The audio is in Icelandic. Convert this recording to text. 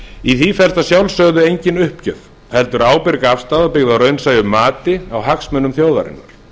í því felst að sjálfsögðu engin uppgjöf heldur ábyrg afstaða byggð á raunsæju mati á hagsmunum þjóðarinnar